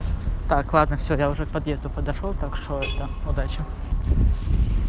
так ладно всё я уже к подъезду подошёл так что это удачи